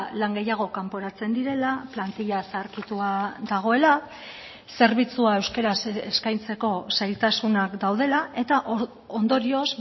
lan gehiago kanporatzen direla plantilla zaharkitua dagoela zerbitzua euskaraz eskaintzeko zailtasunak daudela eta ondorioz